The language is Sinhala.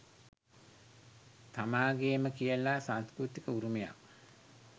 තමාගේම කියලා සංස්කෘතික උරුමයක්